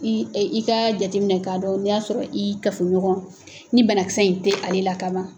Ii i k'a jateminɛ k'a dɔn n'i y'a sɔrɔ i kafoɲɔgɔn ni bana kisɛ in te ale la kaban